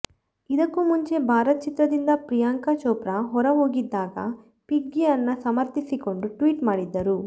ಇದಕ್ಕೂ ಮುಂಚೆ ಭಾರತ್ ಚಿತ್ರದಿಂದ ಪ್ರಿಯಾಂಕಾ ಚೋಪ್ರಾ ಹೊರಹೋಗಿದ್ದಾಗ ಪಿಗ್ಗಿಯನ್ನ ಸಮರ್ಥಿಸಿಕೊಂಡು ಟ್ವೀಟ್ ಮಾಡಿದ್ದರು